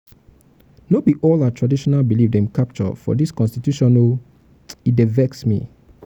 no be all our traditional belief dem capture for we constitution o e dey dey vex me.